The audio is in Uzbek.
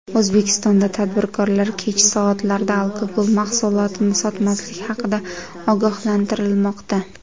O‘zbekistonda tadbirkorlar kech soatlarda alkogol mahsulotini sotmaslik haqida ogohlantirilmoqda.